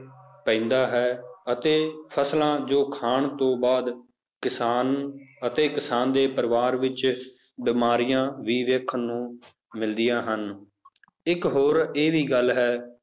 ਪੈਂਦਾ ਹੈ ਅਤੇ ਫਸਲਾਂ ਜੋ ਖਾਣ ਤੋਂ ਬਾਅਦ ਕਿਸਾਨ ਅਤੇ ਕਿਸਾਨ ਦੇ ਪਰਿਵਾਰ ਵਿੱਚ ਬਿਮਾਰੀਆਂ ਵੀ ਵੇਖਣ ਨੂੰ ਮਿਲਦੀਆਂ ਹਨ ਇੱਕ ਹੋਰ ਇਹ ਵੀ ਗੱਲ ਹੈ